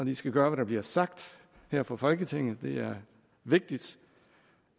de skal gøre hvad der bliver sagt her fra folketinget det er vigtigt